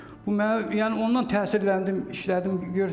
Bu mənə yəni ondan təsirləndim, işlədim.